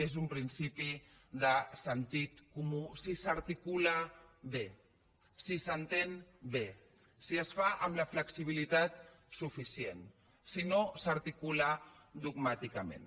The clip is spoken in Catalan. és un principi de sentit comú si s’articula bé si s’entén bé si es fa amb la flexibilitat suficient si no s’articula dogmàticament